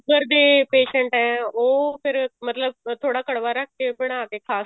sugar ਦੇ patient ਆ ਉਹ ਫ਼ੇਰ ਮਤਲਬ ਥੋੜਾ ਕੜਵਾ ਰੱਖ ਕੇ ਬਣਾ ਕੇ ਖਾ